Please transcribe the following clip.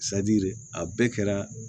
a bɛɛ kɛra